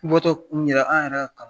N bɔ tɔ kunun yɛrɛ an yɛrɛ